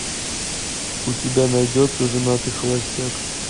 у тебя найдется женатый холостяк